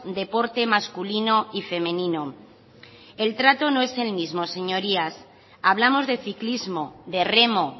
deporte masculino y femenino el trato no es el mismo señorías hablamos de ciclismo de remo